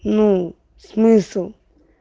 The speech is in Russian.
ну смысл